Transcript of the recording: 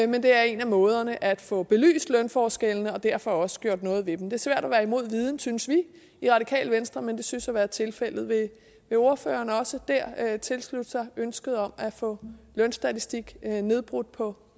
men det er en af måderne til at få belyst lønforskellene og derfor også gjort noget ved dem det er svært at være imod viden synes vi i radikale venstre men det synes at være tilfældet vil ordføreren også der tilslutte sig ønsket om at få lønstatistik nedbrudt på